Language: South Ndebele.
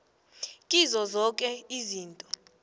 kizo zoke izinto